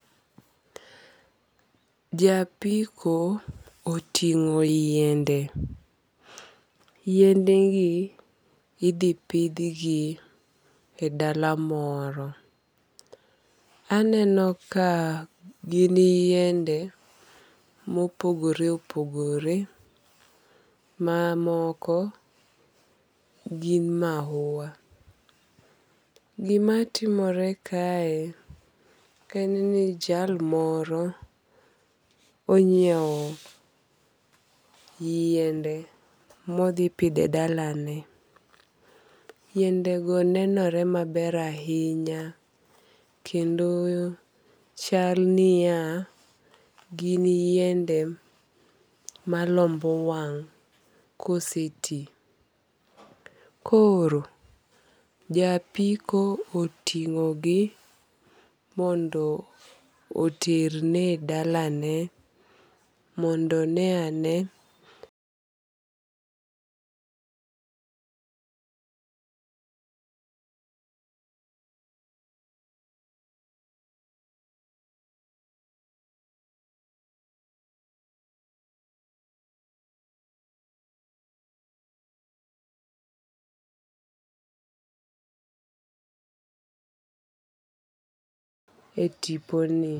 Japiko oting'o yiende. Yiende gi idhi pidh gi e dala moro. Aneno ka gin yiennde mopogore opogore ma moko gin mahua. Gimatimore kae en ni jal moro onyiew yiende modhi pidhe dalane. Yiende go nenore maber ahinya kendo chal niya gin yiende malombo wang' kose ti. Koro japiko oting'o gi mondo oter ne dalane mondo one ane e tipo ni.